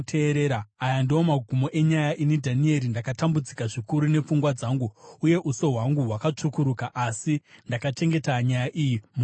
“Aya ndiwo magumo enyaya. Ini, Dhanieri, ndakatambudzika zvikuru nepfungwa dzangu, uye uso hwangu hwakatsvukuruka, asi ndakachengeta nyaya iyi mumwoyo mangu.”